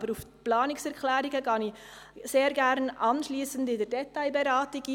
Auf die Planungserklärungen gehe ich aber anschliessend bei der Detailberatung ein.